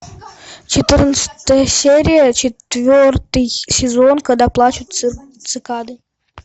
четырнадцатая серия четвертый сезон когда плачут цикады